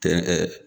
Tɛ ɛɛ